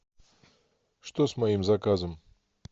что с моим заказом